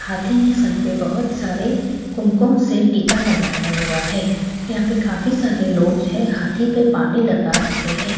हाथी ने सर पर बहुत सारे कुमकुम से टीका लगाया हुआ है यहां पे काफी सारे लोग है हाथी पर पानी लगा रहे हैं।